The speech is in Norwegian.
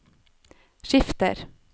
skifter